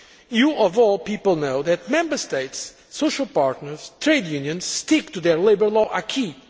You, of all people, know that Member States, social partners and trade unions stick to their labour law acquis